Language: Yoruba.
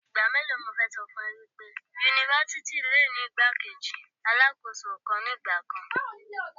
Ìgbà mélòó ni mo fẹ́ ṣọ fún ọ wípé Yunifásítì le ni igbá-kejì Alákóso kan ní ìgbà kan.